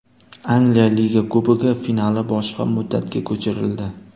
Angliya Liga Kubogi finali boshqa muddatga ko‘chirildi.